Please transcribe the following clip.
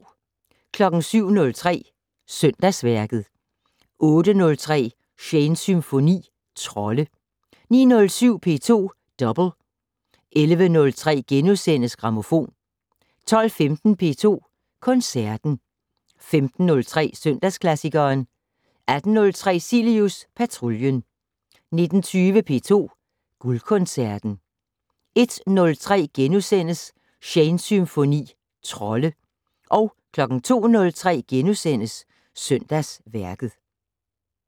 07:03: Søndagsværket 08:03: Shanes Symfoni - Trolde 09:07: P2 Double 11:03: Grammofon * 12:15: P2 Koncerten 15:03: Søndagsklassikeren 18:03: Cilius Patruljen 19:20: P2 Guldkoncerten 01:03: Shanes Symfoni - Trolde * 02:03: Søndagsværket *